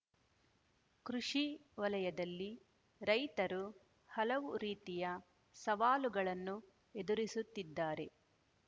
ಕೃಷಿ ವಲಯದಲ್ಲಿ ರೈತರು ಹಲವು ರೀತಿಯ ಸವಾಲುಗಳನ್ನು ಎದುರಿಸುತ್ತಿದ್ದಾರೆ